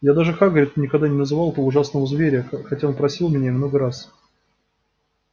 я даже хагриду никогда не называл этого ужасного зверя хотя он просил меня и много раз